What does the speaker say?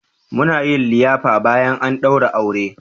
Muna yin liyafa bayan an daura aure.